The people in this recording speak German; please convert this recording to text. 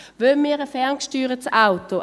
Wollen wir ein ferngesteuertes Auto?